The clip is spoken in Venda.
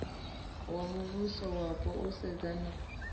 wa muvhusowapo u sedzana na